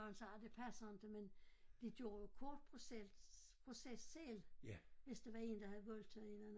Når han sagde det passer inte men de gjorde jo kort proces selv hvis der var en der havde voldtaget en